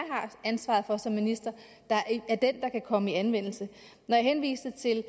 ansvaret for som minister der er den der kan komme i anvendelse når jeg henviste til